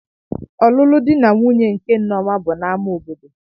Ọlụlụ dị na nwunye nke Nneoma bụ na ámá obodo.